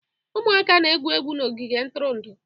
Ụmụaka na-egwu egwu n'ogige ntụrụndụ.